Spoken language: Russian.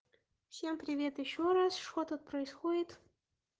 всем привет ещё раз что тут происходит